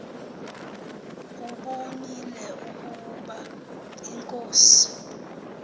ubonile ukaba inkosi